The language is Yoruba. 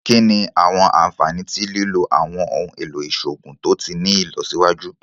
Kini awọn anfani ti lilo awọn ohun elo iṣoogun to ti ni ilọsiwaju?